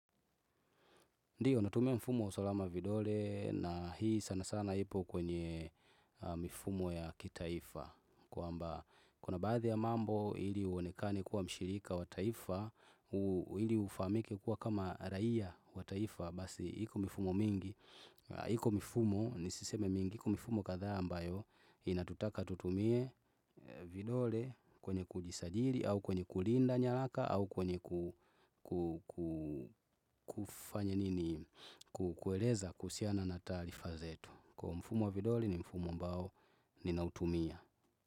Ndiyo natumia mfumo wa usalama vidole na hii sana sana ipo kwenye mifumo ya kitaifa kwamba kuna baadhi ya mambo ili uonekane kuwa mshirika wa taifa ili ufahamike kuwa kama raia wa taifa basi iko mifumo mingi HIko mIfumo, nisiseme mingi, iko mIfumo kadhaa ambayo Inatutaka tutumie vidole kwenye kujisajili au kwenye kulinda nyaraka au kwenye ku kufanya nini, ku kueleza kuhusiana na taarifa zetu. Kwa mfumo wa vidole ni mfumo ambao ninautumia.